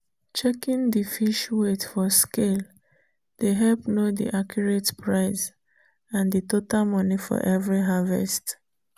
checking the fish weight for scale dey help know the accurate price and the total money for every harvest.